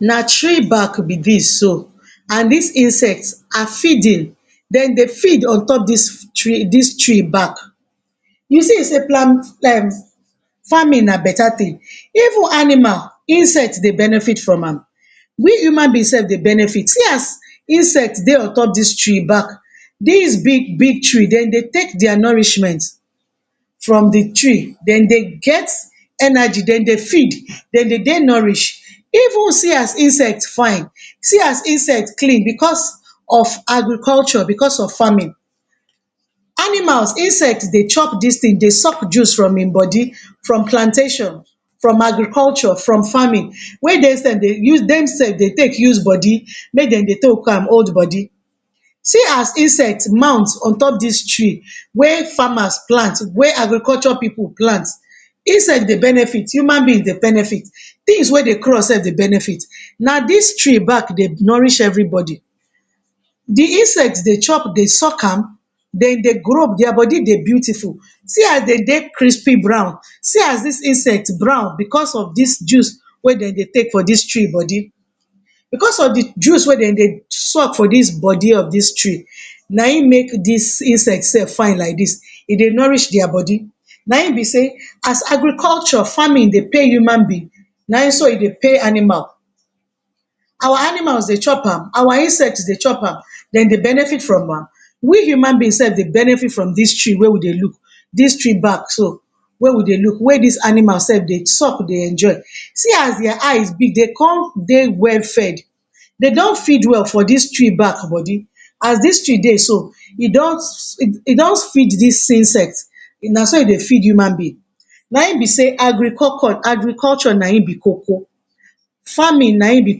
Na tree bark be dis so and dis insect na feeding dem dey feed on top dis tree bark. You see sey plan um farming na beta thing. Even Animal, insect dey benefit from am we human beings self dey benefit see as insect dey on top dis tree bark. Dis big big tree dem dey take dia nourishment from de tree. Dem dey get energy dem dey feed dem dey nourished. Even See as insect fine, see as insect clean because of agriculture because of farming. Animal, insect dey chop dis thing dey suck juice from im body from plantation from Agriculture from farming, wey dey self dem self dey use take body make dem dey take am old body. See as insect mount on top dis tree wey farmers plant wey agriculture pipu plant. insect dey benefit human being dey benefit things wey dey cross self dey benefit na dis tree bark dey nourish everybody. De insect dey chop dey suck am, dem dey grow, dia body dey beautiful. See as dey dey crispy brown, see as dis insect brown because of dis juice wey dem dey take for dis tree body because of de juice wey dem dey suck for dis body of dis tree na im make dis insect self fine like dis. E dey nourish dia body na im be sey as agriculture farming dey pay human being, na im so e dey pay animal. Our animal dey chop am our insect dey chop am dem dey benefit from am we human being self dey benefit from dis tree wey we dey look dis tree bark so wey we dey look wey dis animal self dey suck dey enjoy. See as dia eyes big dey con dey well fed dey don feed well for dis tree bark body as dis tree dey so e don e don feed dis insects na so e dey feed human beings na im be sey agricoco agriculture na im be coco farming na im be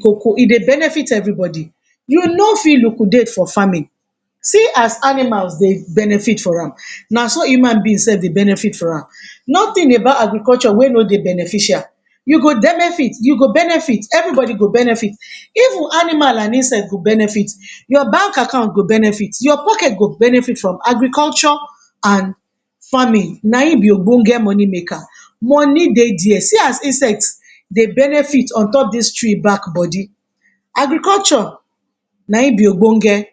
coco. E dey benefit everybody. You no fit liquidate for farming. See as animals dey benefit from am na so human being self dey benefit from am. nothing about agriculture wey no dey beneficial, you go benefit you go benefit, everybody go benefit even animal and insect go benefit. Your bank account go benefit your pocket go benefit from Agriculture and farming na im be obonge money make. Money dey dia see as insect dey benefit on top dis tree bark body. Agriculture na im be obonge.